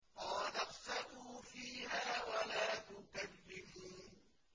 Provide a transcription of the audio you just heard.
قَالَ اخْسَئُوا فِيهَا وَلَا تُكَلِّمُونِ